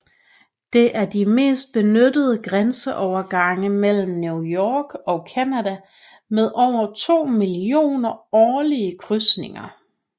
Det er en de mest benyttede grænseovergange mellem New York og Canada med over 2 millioner årlige krydsninger